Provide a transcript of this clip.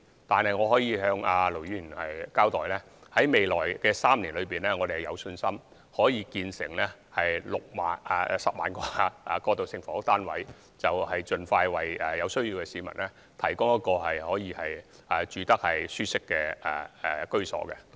可是，我可以向盧議員交代，在未來3年，我們有信心可建成1萬個過渡性房屋單位，盡快為有需要的市民提供舒適的居所。